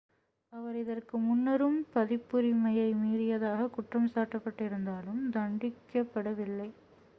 அவர் இதற்கு முன்னரும் பதிப்புரிமையை மீறியதாக குற்றம் சாட்டப்பட்டிருந்தாலும் தண்டிக்கப் படவில்லை